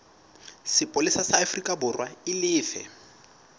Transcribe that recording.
sepolesa sa aforikaborwa e lefe